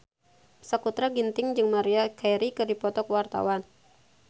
Sakutra Ginting jeung Maria Carey keur dipoto ku wartawan